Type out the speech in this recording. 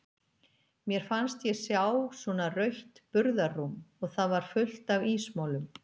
Mér fannst ég sjá svona rautt burðarrúm og það var fullt af ísmolum.